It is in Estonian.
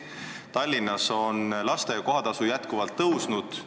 Tallinnas on lasteaia kohatasu pidevalt kasvanud.